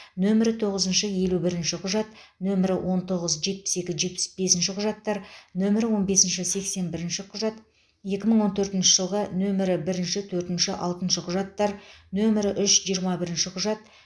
нөмірі тоғызыншы елу бірінші құжат нөмірі он тоғыз жетпіс екі жетпіс бесінші құжаттар нөмірі он бесінші сексен бірінші құжат екі мың он төртінші жылғы нөмірі бірінші төртінші алтыншы құжаттар нөмірі үш жиырма бірінші құжат